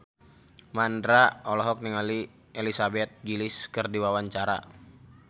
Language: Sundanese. Mandra olohok ningali Elizabeth Gillies keur diwawancara